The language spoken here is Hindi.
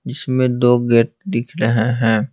जिसमें दो गेट दिख रहे हैं।